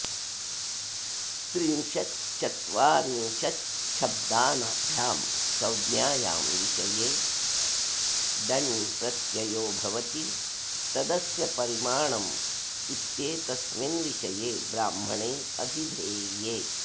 त्रिंशच्चत्वरिंशच्छब्दाभ्यां संज्ञायां विषये डण् प्रत्ययो भवति तदस्य परिमाणम् इत्येतस्मिन् विषये ब्राह्मणे ऽभिधेये